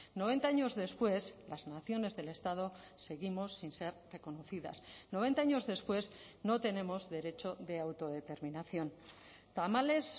noventa años después las naciones del estado seguimos sin ser reconocidas noventa años después no tenemos derecho de autodeterminación tamalez